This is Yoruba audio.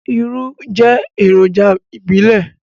Irú jẹ́ èròjà ìbílẹ̀.